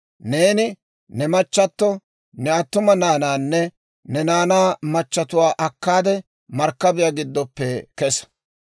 «Neeni ne machchatto, ne attuma naanaanne ne naanaa machatuwaa akkaade markkabiyaa giddoppe kesa.